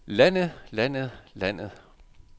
landet landet landet